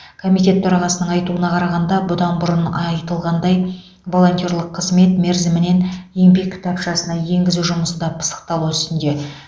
комитет төрағасының айтуына қарағанда бұдан бұрын айтылғандай волонтерлік қызмет мерзімін еңбек кітапшасына енгізу жұмысы да пысықталу үстінде